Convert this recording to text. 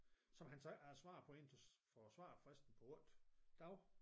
Som han så ikke havde svaret på indtil for svarfristen på 8 dage